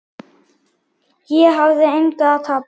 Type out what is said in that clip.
Ég hafði engu að tapa.